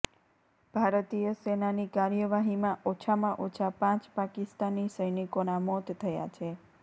ભારતીય સેનાની કાર્યવાહીમાં ઓછામાં ઓછા પાંચ પાકિસ્તાની સૈનિકોના મોત થયા છે